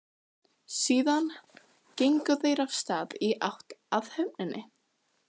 Síðan gengu þeir af stað í áttina að höfninni.